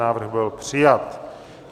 Návrh byl přijat.